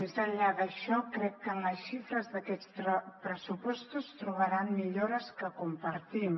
més enllà d’això crec que en les xifres d’aquests pressupostos trobaran millores que compartim